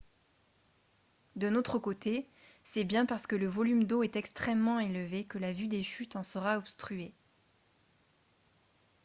d'un autre côté c'est bien parce que le volume d'eau est extrêmement élevé que la vue des chutes en sera obstruée